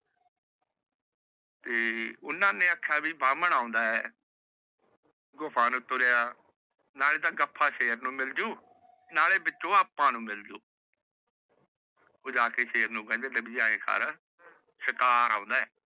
ਓਹਨਾ ਨੇ ਆਖ੍ਯਾ ਵੀ ਬ੍ਰਾਮਣ ਆਉਂਦਾ ਹੈ ਗੁਫਾ ਨੂ ਤੁਰੀਆ ਨਾਲ ਤੇ ਗਫ੍ਫ਼ਾ ਸ਼ੇਰ ਨੂ ਮਿਲ ਜੁ ਨਾਲੈ ਮਿੱਠੂ ਆਪਾਂ ਨੂੰ ਮਿਲ ਜੂ ਉਹ ਜਾ ਕੇ ਸ਼ੇਰ ਨੂੰ ਕਹਿੰਦੇ ਸ਼ਿਕਾਰ ਆਉਂਦਾ ਹੈ